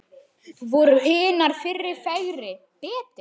Voru hinar fyrri fegri, betri?